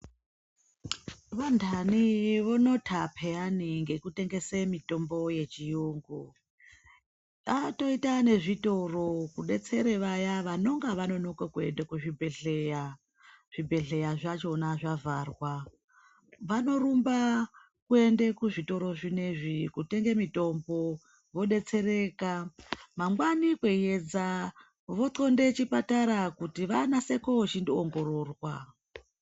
Vantani vonota peyani ngekutengese mitombo yechiyungu. Atoita nezvitoro kudetsera vaya vanonga vanonoke kuende kuchibhehlera, zvibhehleya zvachona zvavharwa. Vanorumba kuende kuzvitoro zvinezvi kutenge mitombo vodetsereka. Mangwani kweiyedza voxonde chipatara kuti vanase koo chindoongororwa.